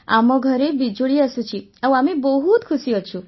ଆମ ଘରେ ବିଜୁଳି ଆସୁଛି ଆଉ ଆମେ ବହୁତ ଖୁସି ଅଛୁ